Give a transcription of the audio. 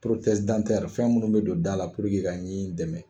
fɛn minnu bɛ don da la puruke ka ɲin dɛmɛ